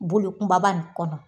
Bolo kunbaba nin kɔnɔ